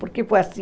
Por que foi assim?